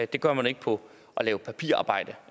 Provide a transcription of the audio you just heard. det gør man ikke på at lave papirarbejde